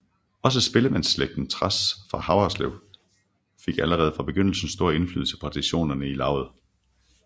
Også spillemandsslægten Trads fra Haverslev fik allerede fra begyndelsen stor indflydelse på traditionerne i lauget